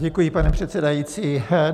Děkuji, pane předsedající.